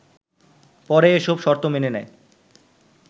পরে এসব শর্ত মেনে নেয়